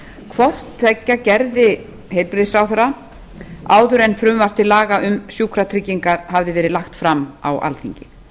hvort tveggja gerði heilbrigðisráðherra áður en frumvarp til laga um sjúkratryggingar hafði verið lagt fram á alþingi